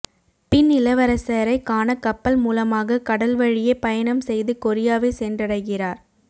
பின் இளவரசரை காண கப்பல் மூலமாக கடல் வழியே பயணம் செய்து கொரியாவை சென்றடைகிறார்